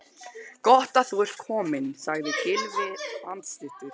Gott þú ert kominn sagði Gylfi andstuttur.